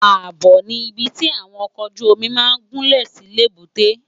Ábò ni ibi ti áwòn òkòójùómì má n gúnlé si lébùté